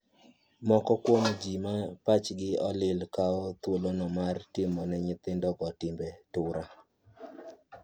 Moko kuom jii ma pachgi olil kawo thuolono mar timone nyithindogo timbe tura.